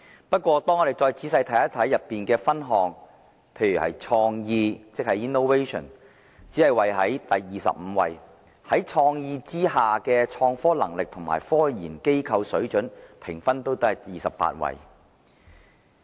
不過，我們仔細看看報告中的分項後發現，"創意"只是位列第二十五位，在"創意"之下的"創科能力"和"科研機構水準"的評分均只是位列第二十八位。